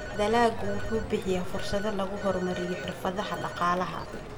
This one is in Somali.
Dalaggu wuxuu bixiyaa fursado lagu horumariyo xirfadaha dhaqaalaha.